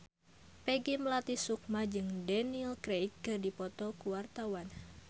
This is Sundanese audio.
Peggy Melati Sukma jeung Daniel Craig keur dipoto ku wartawan